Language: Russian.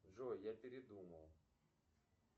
джой я передумал